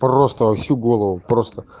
просто во всю голову просто